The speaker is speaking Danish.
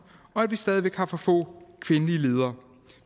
og at vi stadig væk har for få kvindelige ledere